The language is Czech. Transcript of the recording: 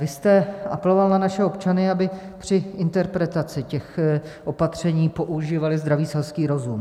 Vy jste apeloval na naše občany, aby při interpretaci těch opatření používali zdravý selský rozum.